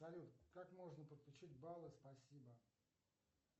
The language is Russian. салют как можно подключить баллы спасибо